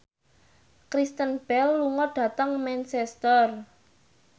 Kristen Bell lunga dhateng Manchester